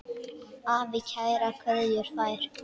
Afi kærar kveðjur fær.